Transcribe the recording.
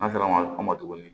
An sera an ma tuguni